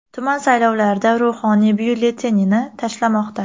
Tuman saylovlarida ruhoniy byulletenini tashlamoqda.